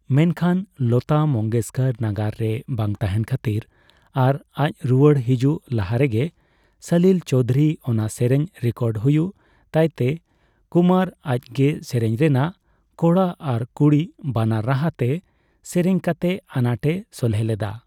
ᱢᱮᱱᱠᱷᱟᱱ, ᱞᱚᱛᱟ ᱢᱚᱝᱜᱮᱥᱠᱚᱨ ᱱᱟᱜᱟᱨ ᱨᱮ ᱵᱟᱝ ᱛᱟᱸᱦᱮᱱ ᱠᱷᱟᱹᱛᱤᱨ ᱟᱨ ᱟᱡ ᱨᱩᱣᱟᱹᱲ ᱦᱤᱡᱩᱜ ᱞᱟᱦᱟᱨᱮᱜᱮ ᱥᱚᱞᱤᱞ ᱪᱳᱣᱫᱷᱩᱨᱤ ᱚᱱᱟ ᱥᱮᱨᱮᱧ ᱨᱮᱠᱚᱨᱰ ᱦᱩᱭᱩᱜ ᱛᱟᱭᱛᱮ, ᱠᱩᱢᱟᱨ ᱟᱡᱜᱮ ᱥᱮᱨᱮᱧ ᱨᱮᱱᱟᱜ ᱠᱚᱲᱟ ᱟᱨ ᱠᱩᱲᱤ ᱵᱟᱱᱟᱨ ᱨᱟᱦᱟᱛᱮ ᱥᱮᱨᱮᱧ ᱠᱟᱛᱮ ᱟᱱᱟᱴᱮ ᱥᱚᱞᱦᱮ ᱞᱮᱫᱟ ᱾